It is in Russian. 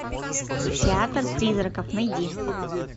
театр призраков найди